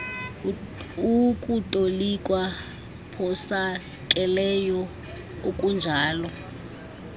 ukutolikwa phosakeleyo okunjalo